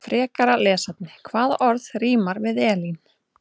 Frekara lesefni: Hvaða orð rímar við Elín?